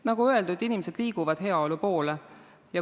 Nagu öeldud, inimesed liiguvad heaolu poole.